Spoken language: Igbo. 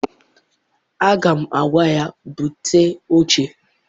Aga m agwa ya, bute oche!